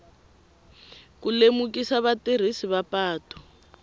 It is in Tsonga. ku lemukisa vatirhisi va patu